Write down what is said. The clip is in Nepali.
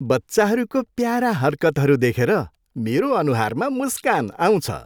बच्चाहरूको प्यारा हरकतहरू देखेर मेरो अनुहारमा मुस्कान आउँछ।